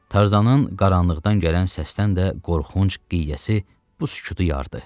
Tarzanın qaranlıqdan gələn səsdən də qorxunc qiyası bu sükutu yardı.